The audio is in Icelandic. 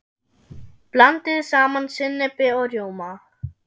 Blandið saman sinnepi og rjóma.